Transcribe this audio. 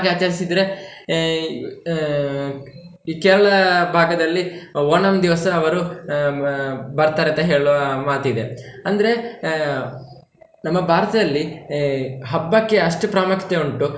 ಹಾಗೆ ಆಚರಿಸಿದ್ರೆ ಆಹ್ ಆಹ್ ಈ Kerala ಭಾಗದಲ್ಲಿ ಓಣಂ ದಿವಸ ಅವ್ರು ಆಹ್ ಬರ್ತಾರೆ ಅಂತ ಹೇಳುವ ಮಾತಿದೆ, ಅಂದ್ರೆ ಆಹ್ ನಮ್ಮ ಭಾರತದಲ್ಲಿ ಹಬ್ಬಕ್ಕೆ ಅಷ್ಟು ಪ್ರಾಮುಖ್ಯತೆ ಉಂಟು.